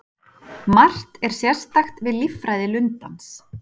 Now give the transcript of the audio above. Margt er sérstakt við líffræði lundans.